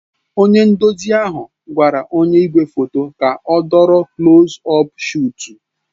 Onye nduzi ahụ gwara onye igwefoto ka ọ dọrọ kulos ọp shọtu